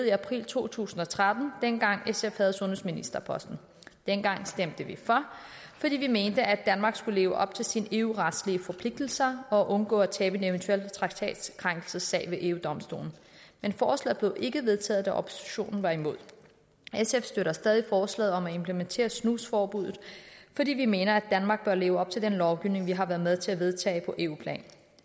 i april to tusind og tretten dengang sf havde sundhedsministerposten dengang stemte vi for fordi vi mente at danmark skulle leve op til sine eu retlige forpligtelser og undgå at tabe en eventuel traktatkrænkelsessag ved eu domstolen men forslaget blev ikke vedtaget da oppositionen var imod sf støtter stadig forslaget om at implementere snusforbuddet fordi vi mener at danmark bør leve op til den lovgivning vi har været med til at vedtage på eu plan